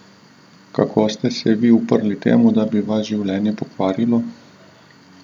Kako ste se vi uprli temu, da bi vas življenje pokvarilo?